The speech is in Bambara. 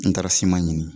N taara ɲini